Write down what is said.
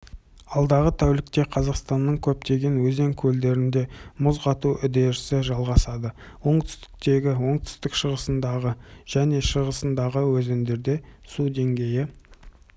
алдағы тәулікте қазақстанның көптеген өзен-көлдерінде мұз қату үдерісі жалғасады оңтүстігіндегі оңтүстік-шығысындағы және шығысындағы өзендерде су деңгейі